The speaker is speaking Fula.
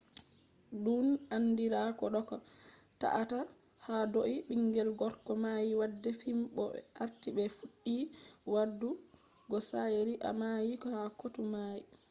dun andira ko doka ta-a-ta hadou bingel gorko mai wade fim bo be arti be fuddi wadu go shari`a mai ha kotu mai